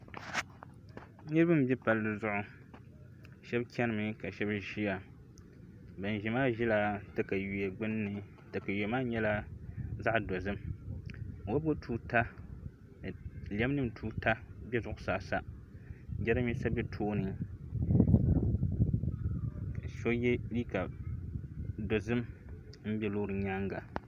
Niraba n bɛ palli zuɣu shab chɛnimi ka shab ʒiya bin ʒiya maa ʒila katawiya gbunni katawiya maa nyɛla zaɣ dozim wobigi tuuta ni lɛm nim tuuta bɛ zuɣusaa sa jiranbiisa bɛ tooni so yɛ liiga dozim n bɛ loori nyaanga